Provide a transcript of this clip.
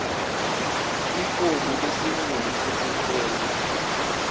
ifomu lesinqumo sesicelo